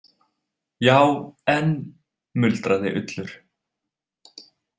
Já, en, muldraði Ullur.